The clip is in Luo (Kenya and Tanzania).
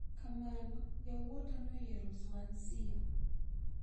Kamano yawuota noyiero Swansea.